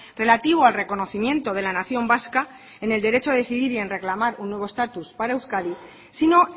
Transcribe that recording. relativo al reconocimiento de la nación vasca en el derecho a decidir y en reclamar un nuevo estatus para euskadi sino